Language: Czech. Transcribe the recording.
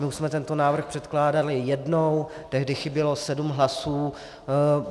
My už jsme tento návrh předkládali jednou, tehdy chybělo sedm hlasů.